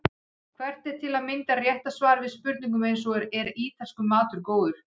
Hvert er til að mynda rétta svarið við spurningum eins og Er ítalskur matur góður?